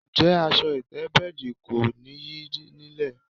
Ǹjé̩ as̩o̩ ìté̩bé̩è̩dì kó̩ nìyí nílè̩?